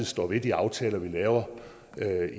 står ved de aftaler vi laver